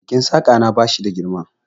Keken Saƙa na ba shi da girma.